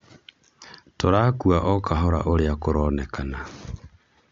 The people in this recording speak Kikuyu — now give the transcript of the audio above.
tũrakua okahora ũrĩa kũronekana